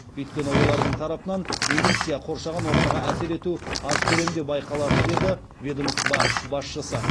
өйткені олардың тарапынан эмиссия қоршаған ортаға әсер ету аз көлемде байқалады деді ведомство басшысы